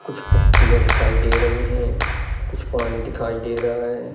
कुछ पत्तियां दिखाई दे रही हैं कुछ पानी दिखाई दे रहा है।